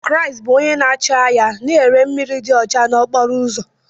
Kris bụ onye na-acho ahia na-ere mmiri dị ọcha n'okporo ụzọ.